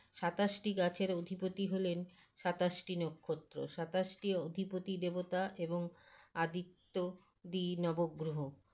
সাতাশটি গাছের অধিপতি হলেন সাতাশটি নক্ষত্র সাতাশটি অধিপতি দেবতা এবং আদিত্যদি নবগ্ৰহ